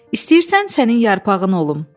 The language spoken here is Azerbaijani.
İstəyirsən sənin yarpağın olum?